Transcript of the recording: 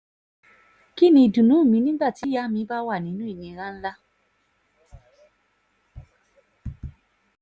kín ni ìdùnnú mi nígbà tíyàá mi bá wà nínú ìnira ńlá